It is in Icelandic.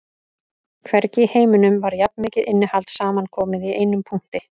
Hvergi í heiminum var jafn mikið innihald samankomið í einum punkti